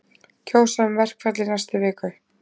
Kjósa um verkfall í næstu viku